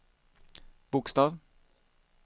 bokstav